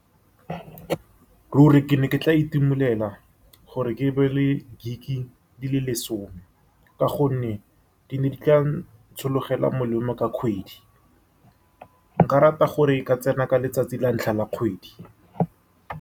Ruri, ke ne ke tla itumelela gore ke be le gig di le lesome, ka gonne di ne di tla ntshologela molemo ka kgwedi. Nka rata gore e ka tsena ka letsatsi la ntlha la kgwedi.